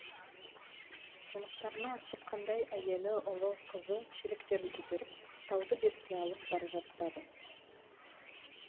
жұмыстарына асыққандай әйелі ұлы қызы шелектерін көтеріп тауды бетке алып бара жатады